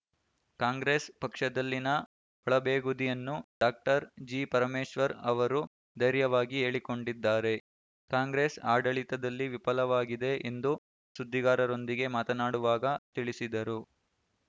ಕಾಂಗ್ರೆಸ್‌ ಪಕ್ಷದಲ್ಲಿನ ಒಳಬೇಗುದಿಯನ್ನು doctor G Parameshwar ಅವರು ಧೈರ್ಯವಾಗಿ ಹೇಳಿಕೊಂಡಿದ್ದಾರೆ ಕಾಂಗ್ರೆಸ್‌ ಆಡಳಿತದಲ್ಲಿ ವಿಫಲವಾಗಿದೆ ಎಂದು ಸುದ್ದಿಗಾರರೊಂದಿಗೆ ಮಾತನಾಡುವಾಗ ತಿಳಿಸಿದರು